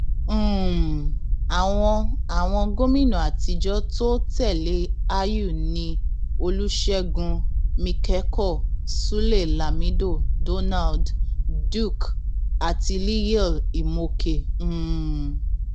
um àwọn àwọn gómìnà àtijọ tó tẹlé àyù ni olùṣègùn míkẹkọ sulé lámido donald duke àti liyel imoke um